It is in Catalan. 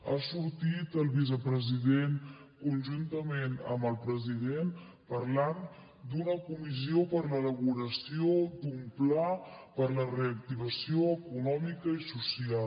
ha sortit el vicepresident conjuntament amb el president parlant d’una comissió per a l’elaboració d’un pla per a la reactivació econòmica i social